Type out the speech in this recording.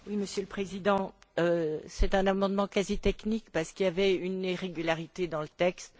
Monsieur le Président, c'est un amendement quasi technique, car il y avait une irrégularité dans le texte.